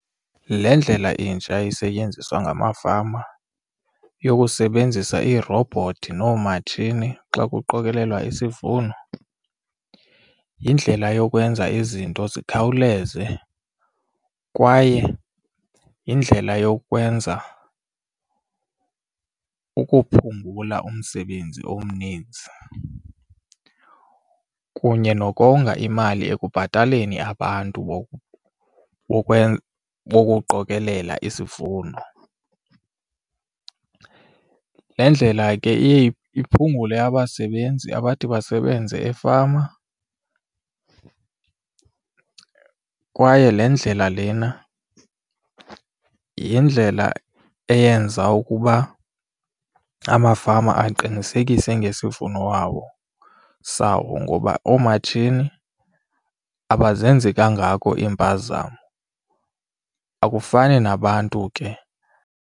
Le ndlela intsha isetyenziswa ngamafama yokusebenzisa iirobhothi noomatshini xa kuqokelelwa isivuno yindlela yokwenza izinto zikhawuleze kwaye yindlela yokwenza ukuphungula umsebenzi omninzi kunye nokonga imali ekubhataleni abantu bokuqokelela isivuno. Le ndlela ke iye iphungule abasebenzi abathi basebenze efama kwaye le ndlela lena yindlela eyenza ukuba amafama aqinisekise ngesivuno wawo sawo ngoba oomatshini abazenzi kangako iimpazamo, akufani nabantu ke.